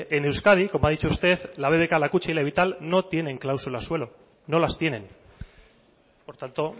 en euskadi como ha dicho usted la bbk la kutxa y la vital no tienen cláusula suelo no las tienen por tanto